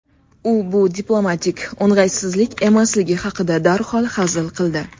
U bu diplomatik o‘ng‘aysizlik emasligi haqida darhol hazil qildi.